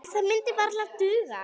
En það myndi varla duga.